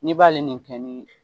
Ne b'ale